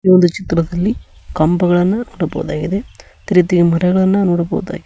ಈ ಒಂದು ಚಿತ್ರದಲ್ಲಿ ಕಂಬಗಳನ್ನ ನೋಡಬಹುದಾಗಿದೆ ಅದೆ ರೀತಿ ಮರಗಳನ್ನ ನೋಡಬಹುದಾ--